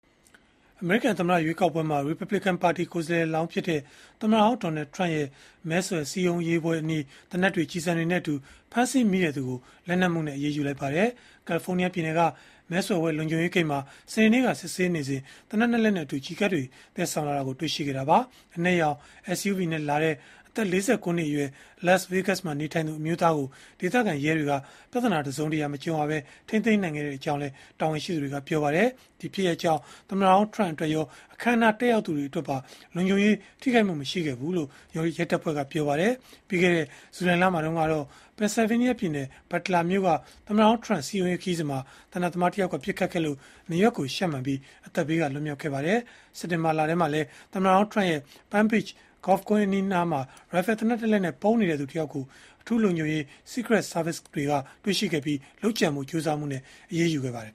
အမေရိကန်သမ္မတရွေးကောက်ပွဲမှာ ရီပတ်ဘလစ်ကန်ပါတီ ကိုယ်စားလှယ်လောင်းဖြစ်တဲ့ သမ္မတဟောင်း Donald Trump ရဲ့ မဲဆွယ်စည်းရုံးရေးပွဲအနီး သေနတ်တွေ၊ ကျည်ဆံတွေနဲ့အတူ ဖမ်းဆီးမိတဲ့သူကို လက်နက်မှုနဲ့ အရေးယူလိုက်ပါတယ်။ ကယ်လီဖိုးနီးယားပြည်နယ်က မဲဆွယ်ပွဲ လုံခြုံရေးဂိတ်မှာ စနေနေ့က စစ်ဆေးစဉ် သေနတ် ၂ လက်နဲ့အတူ ကျည်ကပ်တွေ သယ်ဆောင်လာတာကို တွေ့ရှိခဲ့တာပါ။ အနက်ရောင် SUV နဲ့လာတဲ့ အသက် ၄၉ နှစ်အရွယ် Las Vegas မှာ နေထိုင်သူ အမျိုးသားကို ဒေသခံရဲတွေက ပြဿနာတစုံတရာ မကြုံရဘဲ ထိန်းသိမ်းခဲ့ကြောင်းလည်း တာဝန်ရှိသူတွေက ပြောပါတယ်။ ဒီဖြစ်ရပ်ကြောင့် သမ္မတဟောင်း ထရမ့် အတွက်ရော အခမ်းအနား တက်ရောက်သူတွေအတွက်ပါ လုံခြုံရေး ထိခိုက်မှု မရှိဘူးလို့လည်း ရဲတပ်ဖွဲ့က ပြောပါတယ်။ ပြီးခဲ့တဲ့ ဇူလိုင်လထဲမှာတုန်းကတော့ Pennsylvania ပြည်နယ်၊ Butler မြို့က သမ္မတဟောင်း ထရမ့် စည်းရုံးရေးခရီးစဉ်မှာ သေနတ်သမားတယောက်က ပစ်ခတ်ခဲ့လို့ နားရွက်ကိုရှပ်မှန်ပြီး အသက်ဘေးက လွတ်မြောက်ခဲ့ပါတယ်။ စက်တင်ဘာလထဲမှာလည်း သမ္မတဟောင်းထရမ့်ရဲ့ Palm Beach ဂေါက်ကွင်း အနီးအနားမှာ ရိုင်ဖယ်သေနတ်တလက်နဲ့ ပုန်းနေတဲ့သူ တယောက်ကို အထူးလုံခြုံရေး Secret Service တွေက တွေ့ရှိခဲ့ပြီး၊ လုပ်ကြံဖို့ ကြိုးစားမှုနဲ့ အရေးယူခဲ့ပါတယ်